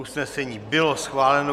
Usnesení bylo schváleno.